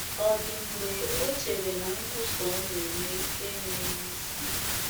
Ọ̀ dị mgbe o chere na nkwusa ọ na - eme enweghị isi?